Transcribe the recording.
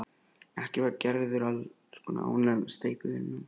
Ekki var Gerður alls kostar ánægð með steypuvinnuna.